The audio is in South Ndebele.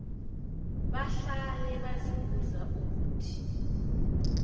bahlale bazibuza ukuthi